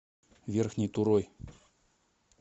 верхней турой